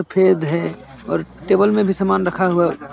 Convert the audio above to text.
सफेद है और टेबल पे भी सामान रखा हुआ --